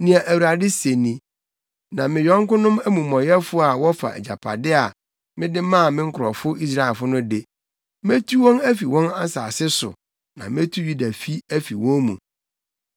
Nea Awurade se ni: “Na me yɔnkonom amumɔyɛfo a wɔfa agyapade a, mede maa me nkurɔfo Israelfo no de, metu wɔn afi wɔn nsase so na metu Yudafi afi wɔn mu.